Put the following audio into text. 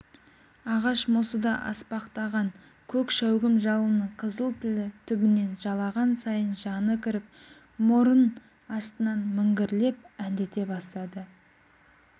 ағаш мосыда аспақтаған көк шәугім жалынның қызыл тілі түбінен жалаған сайын жаны кіріп мұрын астынан міңгірлеп әндете бастады